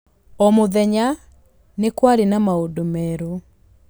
O mũthenya nĩ kwarĩ na maũndũ merũ.